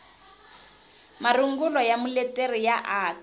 marungulo ya muleteri ya aka